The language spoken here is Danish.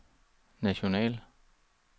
national